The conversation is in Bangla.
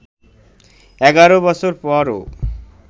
১১ বছর পরও